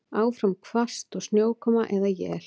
Áfram hvasst og snjókoma eða él